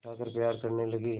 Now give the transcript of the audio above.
उठाकर प्यार करने लगी